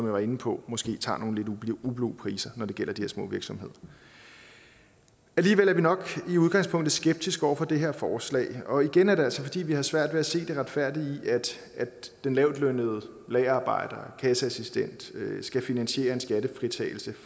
var inde på måske tager nogle lidt ublu priser når det gælder de små virksomheder alligevel er vi nok i udgangspunktet skeptiske over for det her forslag og igen er det altså fordi vi har svært ved at se det retfærdige i at den lavtlønnede lagerarbejder kasseassistent skal finansiere en skattefritagelse